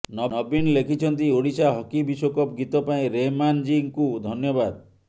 ନବୀନ ଲେଖିଛନ୍ତି ଓଡ଼ିଶା ହକି ବିଶ୍ୱକପ୍ ଗୀତ ପାଇଁ ରେହ୍ମାନଜୀଙ୍କୁ ଧନ୍ୟବାଦ